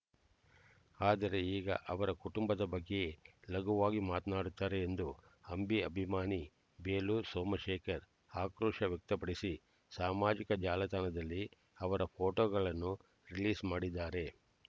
ಆದರೆ ಈಗ ಅವರ ಕುಟುಂಬದ ಬಗ್ಗೆಯೇ ಲಘುವಾಗಿ ಮಾತನಾಡುತ್ತಾರೆ ಎಂದು ಅಂಬಿ ಅಭಿಮಾನಿ ಬೇಲೂರು ಸೋಮಶೇಖರ್ ಆಕ್ರೋಶ ವ್ಯಕ್ತಪಡಿಸಿ ಸಾಮಾಜಿಕ ಜಾಲತಣದಲ್ಲಿ ಅವರ ಫೋಟೋಗಳನ್ನು ರಿಲೀಸ್ ಮಾಡಿದ್ದಾರೆ